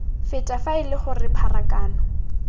feta fa ele gore pharakano